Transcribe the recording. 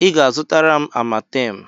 Ị ga-azụtara m Amatem!